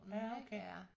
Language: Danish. Ja okay